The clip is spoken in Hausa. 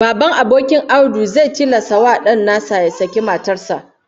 Baban abokin Audu zai tilasta wa dan nasa ya saki matar sa